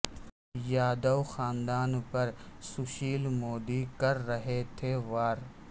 یادو خاندان پر سشیل مودی کر رہے تھے وار